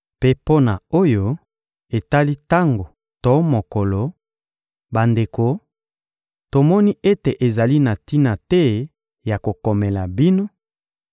Mpe mpo na oyo etali tango to mokolo, bandeko, tomoni ete ezali na tina te ya kokomela bino,